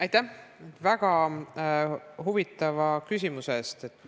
Aitäh väga huvitava küsimuse eest!